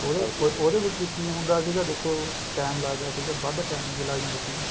ਉਹਦੇ ਵਿੱਚ ਕਿ ਹੁੰਦਾ ਸੀਗਾ ਦੇਖੋ time ਲੱਗਦਾ ਸੀਗਾ ਵੱਧ time ਵੀ ਲੱਗ ਜਾਂਦਾ ਸੀਗਾ